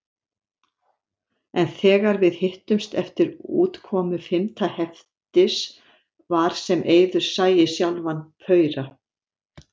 En þegar við hittumst eftir útkomu fimmta heftis var sem Eiður sæi sjálfan paura.